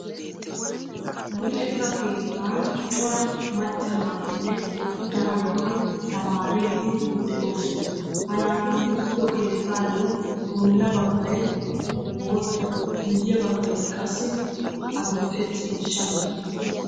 Luxetta keettaan Cora macca naatinne attuma naati tamaaridi de"oosona. Ha naati uttiddo keettaayo bolla baggay bootta guyye baggay qassi adil"e ciishshaa mera.